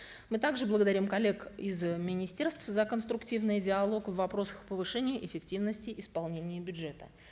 мы также благодарим коллег из министерств за конструктивный диалог в вопросах повышения эффективности исполнения бюджета